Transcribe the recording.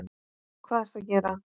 Hvað ertu að gera?